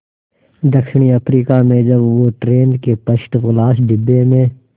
दक्षिण अफ्रीका में जब वो ट्रेन के फर्स्ट क्लास डिब्बे में